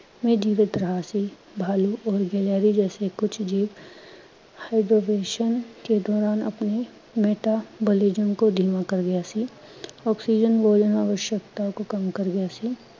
ਮੇਂ ਜੀਵਿਤ ਰਿਹਾ ਸੀ, ਭਾਲਊ ਔਰ ਗਿਲਹਾਰੀ ਜੈਸੇ ਕੁਝ ਜੀਵ hibernation ਕੇ ਦੌਰਾਨ ਅਪਣੇ metabolism ਕੋ ਧੀਮਾ ਕਰ ਰਿਹਾ ਸੀ, ਆਵਸ਼ਕਤਾ ਕੋ ਕਮ ਕਰ ਗਿਆ ਸੀ, ਮੇਂ ਜੀਵਿਤ ਰਿਹਾ ਸੀ